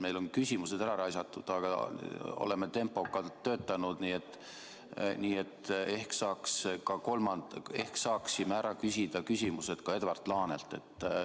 Meil on küsimused ära raisatud, aga oleme tempokalt töötanud, nii et ehk saaksime küsimusi küsida ka Edward Laanelt.